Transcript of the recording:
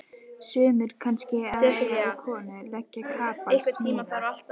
Sumir kannski að eiga við konu, leggja kapal, smíða.